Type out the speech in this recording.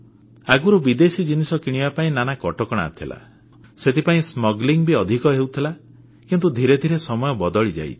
ଆଗରୁ ବିଦେଶୀ ଜିନିଷ ଆଣିବା ପାଇଁ ନାନା କଟକଣା ଥିଲା ସେଥିପାଇଁ ଚୋରାଚାଲାଣ ସ୍ମଗଲିଂ ବି ଅଧିକ ହେଉଥିଲା କିନ୍ତୁ ଧୀରେ ଧୀରେ ସମୟ ବଦଳିଯାଇଛି